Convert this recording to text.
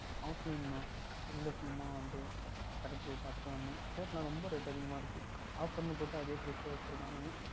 Offline தான் இல்லை சும்மா அப்படியே கடைக்கு போய் பார்த்து விட்டு வந்தேன் Shirt லாம் ரொம்ப அதிகமாக இருக்கின்றது Offer ன்னு போற்று அதே Price க்கு வைத்து இருக்கின்றார்கள்